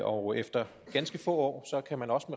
og efter ganske få år kan man også